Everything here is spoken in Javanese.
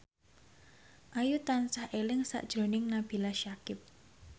Ayu tansah eling sakjroning Nabila Syakieb